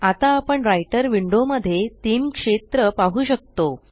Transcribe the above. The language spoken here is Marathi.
आता आपण राइटर विंडो मध्ये तीन क्षेत्र पाहु शकतो